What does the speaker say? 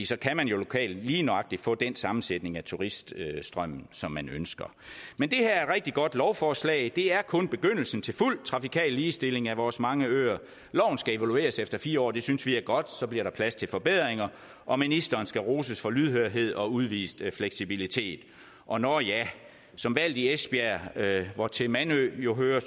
så kan man jo lokalt lige nøjagtig få den sammensætning af turiststrømmen som man ønsker men det her er et rigtig godt lovforslag det er kun begyndelsen til fuld trafikal ligestilling af vores mange øer loven skal evalueres efter fire år og det synes vi er godt for så bliver der plads til forbedringer og ministeren skal roses for lydhørhed og at udvist fleksibilitet og nå ja som valgt i esbjerg hvortil mandø jo hører